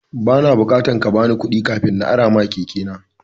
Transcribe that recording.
Ba na bukatan kabani kuɗi kafin na arama keke na.